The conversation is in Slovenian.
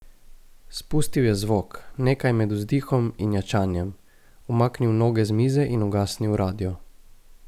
Spustil je zvok, nekaj med vzdihom in ječanjem, umaknil noge z mize in ugasnil radio.